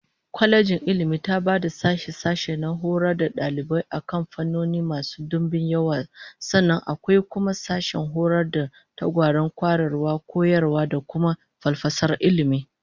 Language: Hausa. Kwalejin Ilmi taba da sashe-sashe na horar da dalibai akan fannoni masu dimbin yawa, sannan akwai kuma sashen horar da tsagwaron kwarewar koyarwa da kuma falsafar ilmi